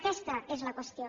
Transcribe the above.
aquesta és la qüestió